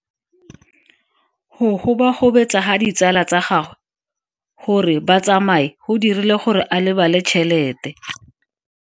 Go gobagobetsa ga ditsala tsa gagwe, gore ba tsamaye go dirile gore a lebale tšhelete.